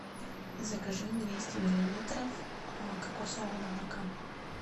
закажи двести миллилитров кокосового молока